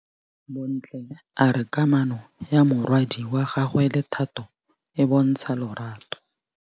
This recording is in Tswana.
Bontle a re kamanô ya morwadi wa gagwe le Thato e bontsha lerato.